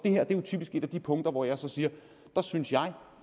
her er jo typisk et af de punkter hvor jeg så siger der synes jeg